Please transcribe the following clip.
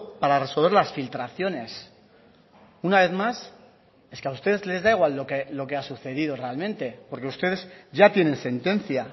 para resolver las filtraciones una vez más es que a ustedes les da igual lo que ha sucedido realmente porque ustedes ya tienen sentencia